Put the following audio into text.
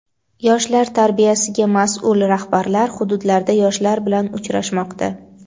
Yoshlar tarbiyasiga mas’ul rahbarlar hududlarda yoshlar bilan uchrashmoqda.